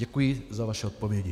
Děkuji za vaše odpovědi.